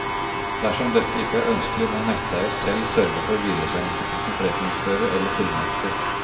Dersom dette ikke er ønskelig, må netteier selv sørge for videresendelse til sin forretningsfører eller fullmektig.